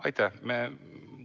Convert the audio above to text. Aitäh!